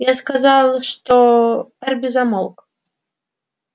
я сказал что эрби замолк